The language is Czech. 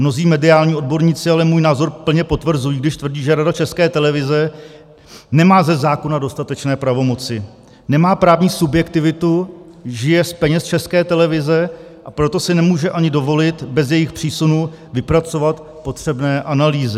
Mnozí mediální odborníci ale můj názor plně potvrzují, když tvrdí, že Rada České televize nemá ze zákona dostatečné pravomoci, nemá právní subjektivitu, žije z peněz České televize, a proto si nemůže ani dovolit bez jejich přísunu vypracovat potřebné analýzy.